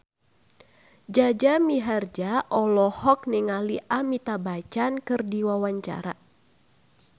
Jaja Mihardja olohok ningali Amitabh Bachchan keur diwawancara